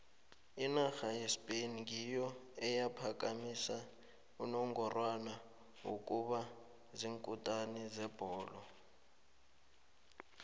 inarha yespain ngiyo eyaphakamisa unongorwana wokuba ziinkutini zebholo